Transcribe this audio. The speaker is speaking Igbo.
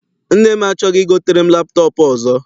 Nne m achọghị igotere m laptọp ọzọ.